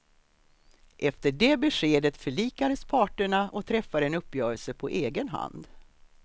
Efter det beskedet förlikades parterna och träffade en uppgörelse på egen hand.